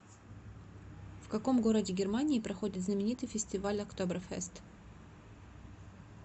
в каком городе германии проходит знаменитый фестиваль октоберфест